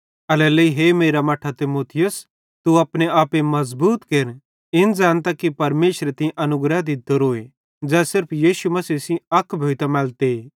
एल्हेरेलेइ हे मेरे मट्ठां तीमुथियुस तू अपने आपे मज़बूत केर इन ज़ैनतां कि परमेशरे तीं अनुग्रह दित्तोरो ज़ै सिर्फ यीशु मसीह सेइं अक भोइतां मैलते